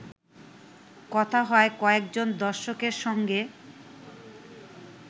কথা হয় কয়েকজন দর্শকের সঙ্গে